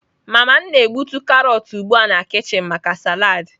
Mama m na-egbutu karọt ugbu a na kichin maka salad.